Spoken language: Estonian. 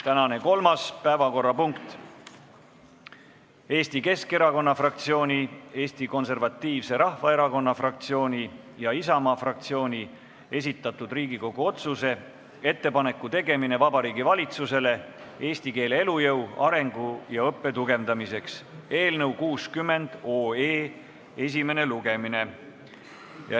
Tänane kolmas päevakorrapunkt on Eesti Keskerakonna fraktsiooni, Eesti Konservatiivse Rahvaerakonna fraktsiooni ja Isamaa fraktsiooni esitatud Riigikogu otsuse "Ettepaneku tegemine Vabariigi Valitsusele eesti keele elujõu, arengu ja õppe tugevdamiseks" eelnõu 60 esimene lugemine.